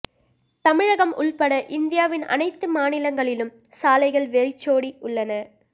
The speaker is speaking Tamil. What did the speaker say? தமிழகம் உள்பட இந்தியாவின் அனைத்து மாநிலங்களிலும் சாலைகள் வெறிச்சோடி உள்ளன